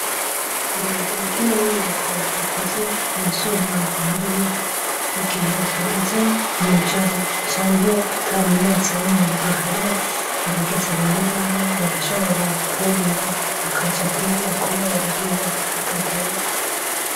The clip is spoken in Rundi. Urugi rw'ino nyubako rukoze mu vyuma nk'ibi mu gihe hageze mw'ijoro canke ata munyezamu ahari, abagizi ba nabi barashobora kwurira bakaja kwiba kubera biba bitagoye.